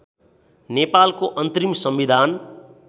नेपालको अन्तरिम संविधान